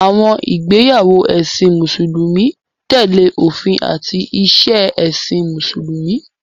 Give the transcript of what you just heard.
Àwọn ìgbéyàwó ẹ̀sìn Mùsùlùmí tẹ̀lé òfin àti ìṣe ẹ̀sìn Mùsùlùmí.